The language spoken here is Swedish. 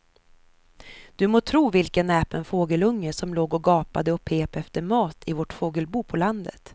Du må tro vilken näpen fågelunge som låg och gapade och pep efter mat i vårt fågelbo på landet.